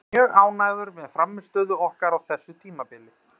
Ég er mjög ánægður með frammistöðu okkar á þessu tímabili.